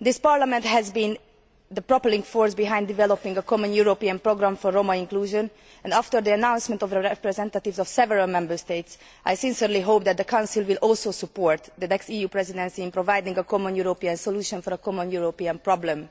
This Parliament has been the propelling force behind developing a common European programme for Roma inclusion and, after the announcement of the representatives of several Member States, I sincerely hope that the Council will also support the next EU Presidency in providing a common European solution for a common European problem.